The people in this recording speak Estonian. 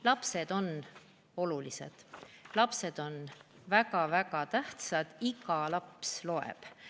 Lapsed on olulised, lapsed on väga-väga tähtsad, iga laps loeb.